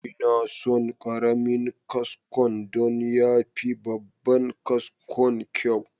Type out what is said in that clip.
Ina son karamin kaskon don ya fi babban kaskon kyau.